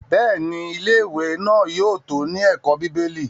Bẹ́ẹ̀ni, Ilé-ìwé náà yóò tó ní ẹ̀kọ́ bíbélì.